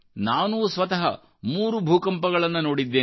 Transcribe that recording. ನಾನೂ ಸ್ವತಃ ಮೂರು ಭೂಕಂಪಗಳನ್ನು ನೋಡಿದ್ದೇನೆ